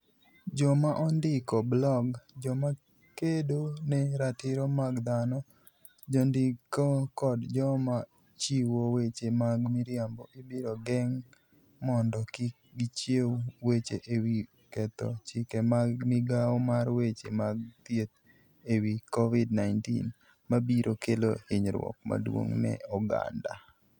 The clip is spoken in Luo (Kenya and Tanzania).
Joma ondiko blog, joma kedo ne ratiro mag dhano, jondiko kod joma chiwo weche mag miriambo ibiro geng' mondo kik gichiw weche e wi ketho chike mag Migawo mar Weche mag Thieth e wi Covid-19 - ma biro kelo hinyruok maduong' ne oganda.